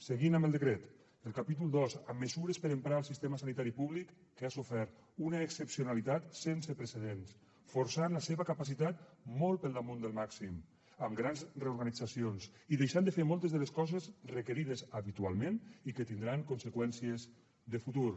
seguint amb el decret el capítol dos amb mesures per a emprar el sistema sanitari públic que ha sofert una excepcionalitat sense precedents i s’ha forçat la seva capacitat molt per damunt del màxim amb grans reorganitzacions i deixant de fer moltes de les coses requerides habitualment i que tindran conseqüències de futur